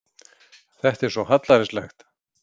Þetta er svo hallærislegt.